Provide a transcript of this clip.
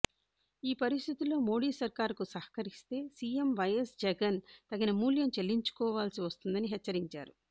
ఈ పరిస్థితుల్లో మోడీ సర్కార్కు సహకరిస్తే సీఎం వైఎస్ జగన్ తగిన మూల్యం చెల్లించుకోవాల్సి వస్తుందని హెచ్చ రించారు